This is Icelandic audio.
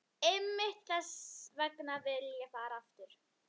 Einmitt þess vegna vil ég fara aftur.